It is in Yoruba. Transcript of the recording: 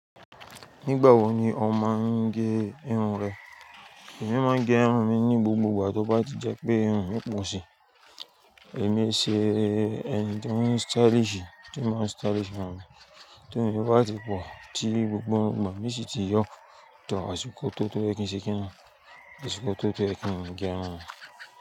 Nígbà wo ni ò máa ń gẹ irun rẹ? Èmi máa ń gẹ irun mi ní gbogbo ìgbà tó bá ti jẹ́ pé irun mi pọ̀ síi. Èmi ṣe ẹni tó ń stylish, tí ó máa ń stylish fún mi. Ti irun mi bá ti pọ̀ tí gbogbo ìgbà mi sì ti yọ̀ tó àsìkò tó tó ye kin se kini, àsìkò tó tó ye kin gẹ irun mi.